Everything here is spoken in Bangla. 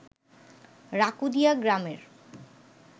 রাকুদিয়া গ্রামের